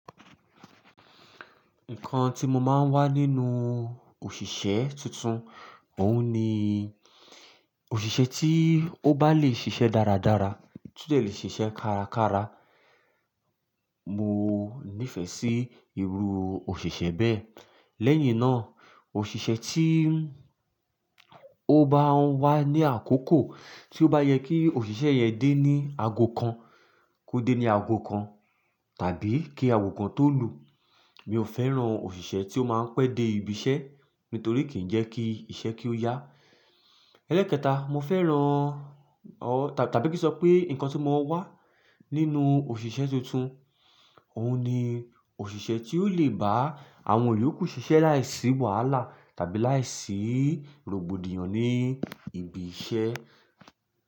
Nǹkan tí mo máa ń wá nínú òṣìṣẹ́ tuntun, òun ni òṣìṣẹ́ tí ó bá lè ṣiṣẹ́ dáradára, tí ó de le ṣiṣẹ́ kárakára. Mo nífẹ̀ẹ́ sí irú òṣìṣẹ́ bẹ́ẹ̀. Lẹ́yìn náà, òṣìṣẹ́ tí ó bá ń wá ní àkókò tí ó bá yẹ kí òṣìṣẹ́ yẹn dé ní aago kan kó dé ní aago kan tàbí kí aago kan tó lù. Mi ò fẹ́ràn òṣìṣẹ́ tí ó máa ń pẹ́ dé ibiṣẹ́ nítorí kì í jẹ́ kí iṣẹ́ kí ó yá. Ẹlẹ́ekẹta, mo fẹ́ràn o tàbí kí n sọ pé nǹkan tí mo wá nínú òṣìṣẹ́ tuntun, òun ni òṣìṣẹ́ tí ó lè bá àwọn iyoku ṣìṣẹ́ láìsí wàhálà tàbí láìsí rògbòdìyàn ní ibi iṣẹ́.